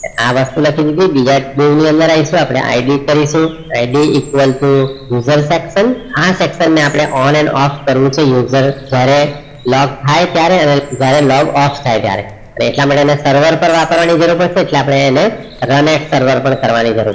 આ વસ્તુ લખી દીધી બીજા બેઓ ની અંદર આયસુ ID કરીશુ ID equal to user section આ section ને આપડે on and off કરવું છે users ત્યારે log થાય જયારે log off થાય તારે હવે ઇટા માટે એને server પેર વાપરવાની જરૂર પડશે એટલે આપણે એને run at server પણ કરવાની જરૂર પડે